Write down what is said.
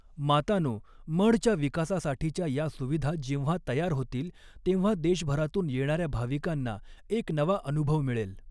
मातानो मढ़च्या विकासासाठीच्या या सुविधा जेव्हा तयार होतील, तेव्हा देशभरातून येणाऱ्या भाविकांना एक नवा अनुभव मिळेल.